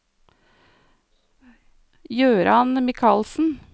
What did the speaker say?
Jøran Michaelsen